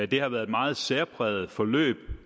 det har været et meget særpræget forløb